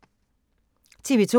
TV 2